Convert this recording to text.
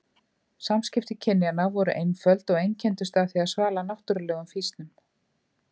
Samskipti kynjanna voru einföld og einkenndust af því að svala náttúrulegum fýsnum.